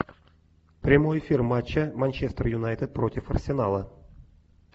прямой эфир матча манчестер юнайтед против арсенала